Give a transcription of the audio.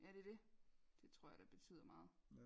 Ja det er det det tror jeg da betyder meget